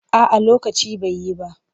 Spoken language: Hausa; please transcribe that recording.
A'a lokacin bai yi ba.